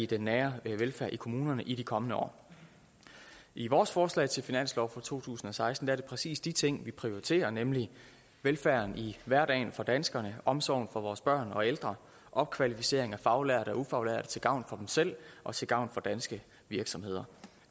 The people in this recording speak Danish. den nære velfærd i kommunerne i de kommende år i vores forslag til finanslov for to tusind og seksten er det præcis de ting vi prioriterer nemlig velfærden i hverdagen for danskerne omsorgen for vores børn og ældre og opkvalificeringen af faglærte og ufaglærte til gavn for dem selv og til gavn for danske virksomheder